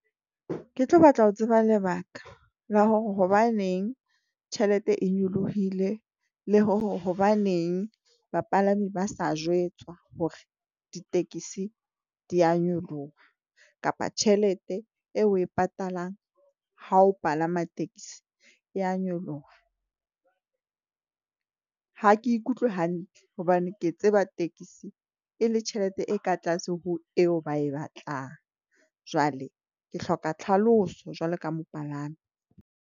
Ke tlo batla ho tseba lebaka la hore hobaneng tjhelete e nyolohile, le hore hobaneng bapalami ba sa jwetswa hore ditekesi di a nyoloha kapa tjhelete eo oe patalang ha o palama taxi ya nyoloha. Ha ke ikutlwe hantle hobane ke tseba tekesi e le tjhelete e ka tlase ho eo ba e batlang. Jwale ke hloka tlhalosa jwalo ka mopalami.